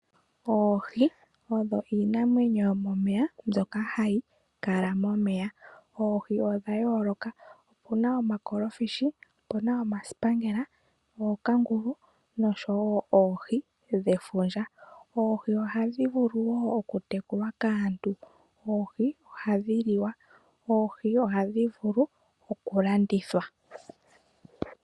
Oohi oyo iinamwenyo mbyoka hayi vulu oku kala momeya. Oohi odha yooloka, opuna omakolofishi, opuna omasipangela, ookangulu noshowo oohi dhefundja. Oohi ohadhi vulu oku tekulwa kaantu, oohi ohadhi liwa. Oohi ohadhi vulu oku landithwa.